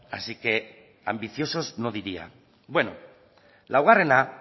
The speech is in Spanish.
así que ambiciosos no diría bueno laugarrena